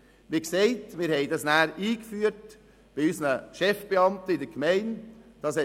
Wir führten die Vertrauensarbeitszeit, wie erwähnt, bei unseren Chefbeamten in der Gemeinde ein.